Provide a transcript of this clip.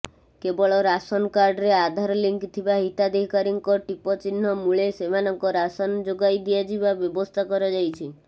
କେବଳ ରାସନକାର୍ଡରେ ଆଧାର ଲିଙ୍କ ଥିବା ହିତାଧିକାରୀଙ୍କ ଟିପଚିହ୍ନ ମୁଳେ ସେମାନଙ୍କ ରାସନ ଯୋଗାଇ ଦିଆଯିବା ବ୍ୟବସ୍ଥା କରାଯାଇଛି